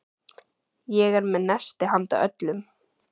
Ég er með nesti handa öllum.